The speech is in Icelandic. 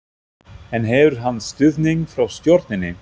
En hefur hann stuðning frá stjórninni?